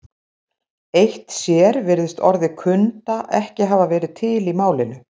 Eitt sér virðist orðið kunda ekki hafa verið til í málinu.